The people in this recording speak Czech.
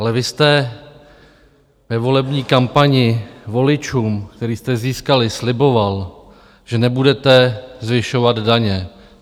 Ale vy jste ve volební kampani voličům, které jste získali, sliboval, že nebudete zvyšovat daně.